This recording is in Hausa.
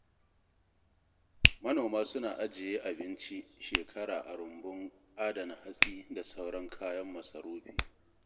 Manoma suna ajiye abinci shekara a rumbun adana hatsi da sauran kayan masarufi.